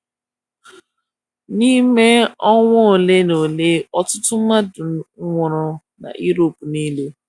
N’ime ọnwa ole na ole ọtụtụ mmadụ nwụrụ na Europe nile.